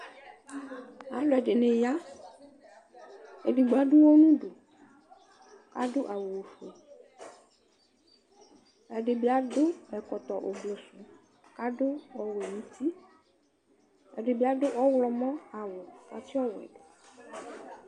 aloɛdini ya edigbo ado uwɔ n'udu ado awu ofue ɛdi bi ado ɛkɔtɔ ofue k'ado ɔwɛ n'uti ɛdi bi ado ɔwlɔmɔ awu k'atsi ɔwɛ do